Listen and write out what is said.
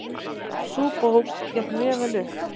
Sú bók gekk mjög vel upp.